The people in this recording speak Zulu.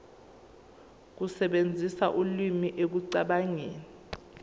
ukusebenzisa ulimi ekucabangeni